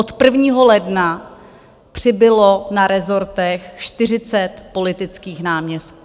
Od 1. ledna přibylo na resortech 40 politických náměstků.